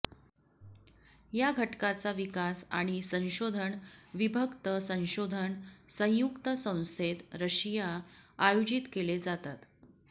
या घटकाचा विकास आणि संशोधन विभक्त संशोधन संयुक्त संस्थेत रशिया आयोजित केले जातात